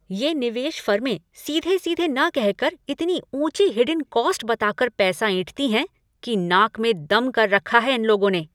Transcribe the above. ये निवेश फर्में सीधे सीधे न कह कर इतनी ऊँची हिडेन कॉस्ट बता कर पैसा ऐंठती हैं कि नाक में दम कर रखा है इन लोगों ने।